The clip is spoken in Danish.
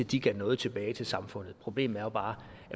de gav noget tilbage til samfundet problemet er jo bare